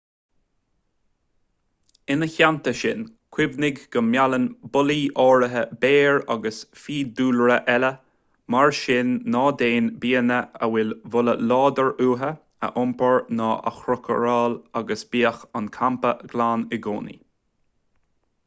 ina theannta sin cuimhnigh go meallann bolaí áirithe béir agus fiadhúlra eile mar sin ná déan bianna a bhfuil boladh láidir uathu a iompar ná a chócaráil agus bíodh an campa glan i gcónaí